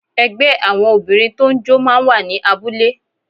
Ẹgbẹ́ àwọn Obìnrin tó ń jó máa ń wà ní abúlé